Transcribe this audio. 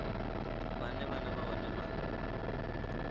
vhane vhana vha hone vha